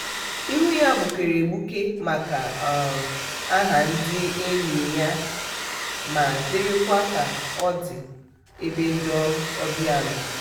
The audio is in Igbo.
ihu ya gbukere egbuke maka um aha ndị enyi ya ma dịrịkwa ka ọ dị ebe ndị obịa nọ.